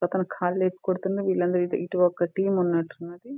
పక్కన ఖాళీ కొడుతున్న వీళ్ళందరూ ఇటు ఒక టీమ్ ఉన్నట్టున్నది --